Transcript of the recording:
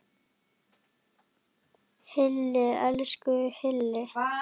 Hilli, elsku Hilli!